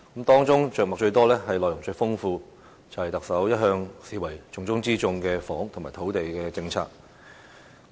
當中着墨最多、內容最豐富的是特首一向視為重中之重的房屋和土地政策。